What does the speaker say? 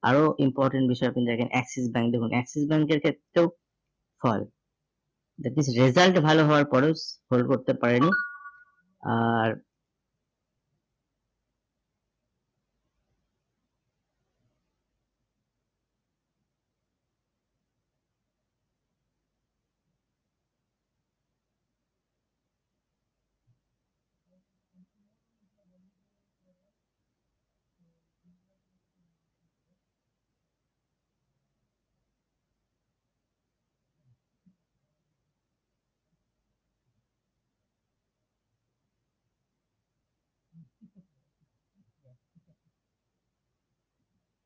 আর ও important বিষয় আপনই দেখেন Axis Bank দেখুন, Axis Bank এর ক্ষেত্রে ও হয় that is result ভালো হওয়ার পরেও hold করতে পারেনি আর